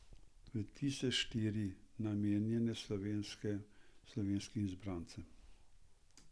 Tudi tiste štiri, namenjene slovenskim izbrancem.